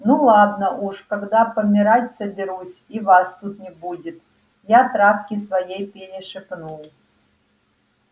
ну ладно уж когда помирать соберусь и вас тут не будет я травке своей перешепну